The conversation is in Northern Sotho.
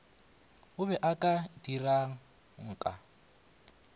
o be o ka dirangka